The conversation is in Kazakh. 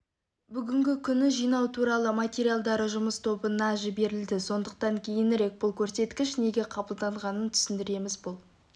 бүгінгі күні жинау туралы материалдары жұмыс тобына жіберілді сондықтан кейінірек бұл көрсеткіш неге қабылданғанын түсіндіреміз бұл